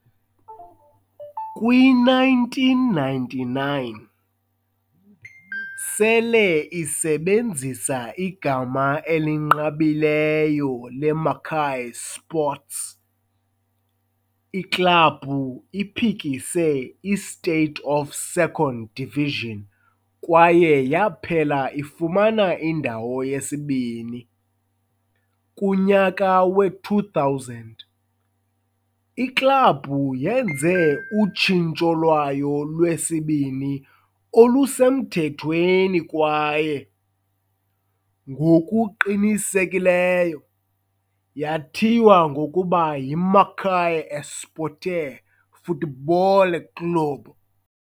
Kwi-1999, sele isebenzisa igama elinqabileyo le-Macaé Sports, iklabhu iphikise iState of Second Division kwaye yaphela ifumana indawo yesibini. Kunyaka we-2000, Iklabhu yenze utshintsho lwayo lwesibini olusemthethweni kwaye, ngokuqinisekileyo, yathiywa ngokuba yiMacaé Esporte Futebol Clube.